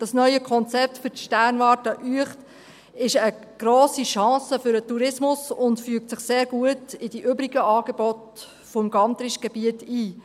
Dieses neue Konzept für die Sternwarte Uecht ist eine grosse Chance für den Tourismus und fügt sich sehr gut in die übrigen Angebote des Gantrisch-Gebiets ein.